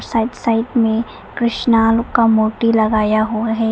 Side side में कृष्ण का मूर्ति लगाया हुआ है।